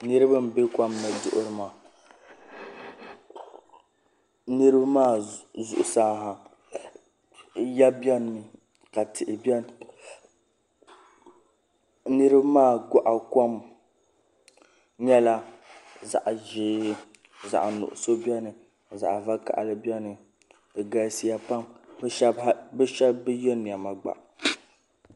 Niraba n bɛ kom ni duɣuri maa niraba maa zuɣusaa ha ya biɛni mi ka tihi biɛni niraba maa goɣa kom nyɛla zaɣ' ʒiɛ zaɣ nuɣso biɛni ka zaɣ vakaɣili biɛni di galsiya pam bi shab bi yɛ niɛma gba